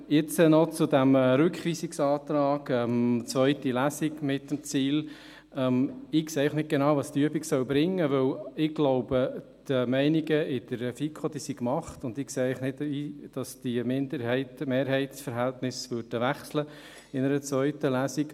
Jetzt noch zu diesem Rückweisungsantrag mit dem Ziel einer zweiten Lesung: Ich sehe einfach nicht genau, was diese Übung bringen soll, denn ich glaube, die Meinungen in der FiKo sind gemacht, und ich sehe nicht, dass sich diese Minderheits- und Mehrheitsverhältnisse in einer zweiten Lesung ändern würden.